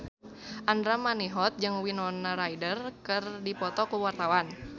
Andra Manihot jeung Winona Ryder keur dipoto ku wartawan